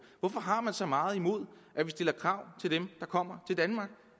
hvorfor har man så meget imod at vi stiller krav til dem der kommer til danmark